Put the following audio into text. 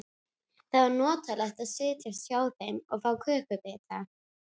Það var notalegt að setjast hjá þeim og fá kökubita.